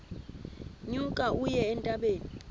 nyuka uye entabeni